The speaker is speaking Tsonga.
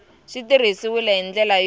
swi tirhisiwile hi ndlela yo